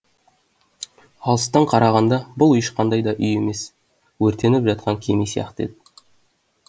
алыстан қарағанда бұл ешқандай да үй емес өртеніп жатқан кеме сияқты еді